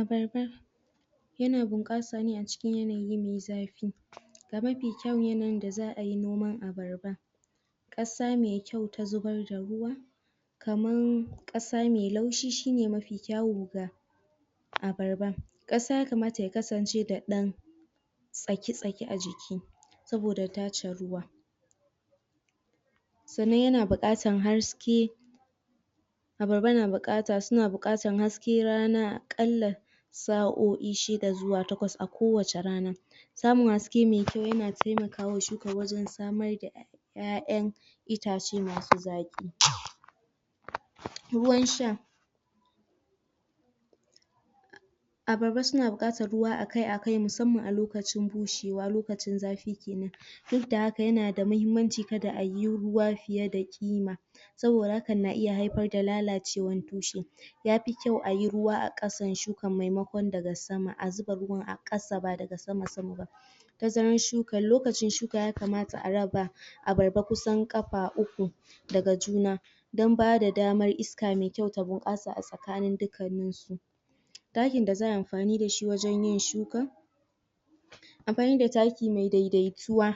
Abarba, yana bunkasa ne a cikin yanayi me zafi ga mafi kyau da za a yi noman abarba kasa me kyau ta zubar da ruwa kaman kasa me laushi shi ne me mafi kyau ga abarba. Kasa ya kamata ya kasance da dan tsaki-tsaki a jikin saboda tache ruwa tsannan yana bukatan haske abarba na bukata, suna bukatan hasken rana kalla sa'o'i shi da zuwa takwas a kowace rana Samun haske me kyau yana taimaka wa shukan wazun samar da iyaiyan itace masu zaki. Ruwan sha Abarba suna bukatan ruwa a kai a kai musamman a lokacin bushewa, lokacin zafi kenan duk da haka yana da mahimmanci kada a yi ruwa fiye da kima, saboda hakan na iya haifar da lalacewan dushen yafi kyau a yi ruwa a kasan shukan maimakon daga sama, a zuba ruwan a kasa ba daga sama-sama ba Tazaran shukan, lokacin shukan ya kamata a raba, abarba kusan kafa uku daga juna don ba da damar iska me kyau ta bunkasa tsakanin dukanin su takin da za a yi amfani da shi wajen yin shukan, amfani da taki me daidaituwa